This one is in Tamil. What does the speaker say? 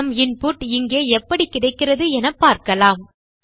நம் இன்புட் இங்கே எப்படி கிடைக்கிறது என காணலாம்